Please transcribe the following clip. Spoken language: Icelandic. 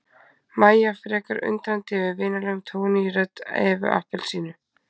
Mæja frekar undrandi yfir vinalegum tóni í rödd Evu appelsínu.